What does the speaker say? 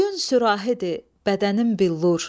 Boyun sürahidir, bədənin billur.